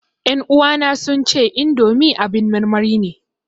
Ƴan uwana sun ce indomi abin marmari ne